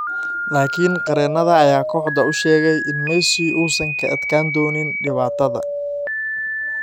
Laakiin qareennada ayaa kooxda u sheegay in Messi uusan ka adkaan doonin dhibaatada.